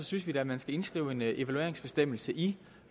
synes vi da at man skal indskrive en evalueringsbestemmelse i